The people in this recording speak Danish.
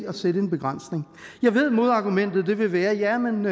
at sætte en begrænsning jeg ved modargumentet vil være jamen